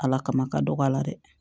Ala kama ka dɔgɔ a la dɛ